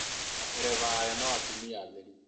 Matereba ayo no atumia atheri